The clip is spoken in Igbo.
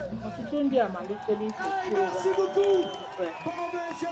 Ọtụtụ ndị amalitela ife chi ụgha bụ́ Bel.